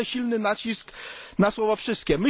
Kładę silny nacisk na słowo wszystkie.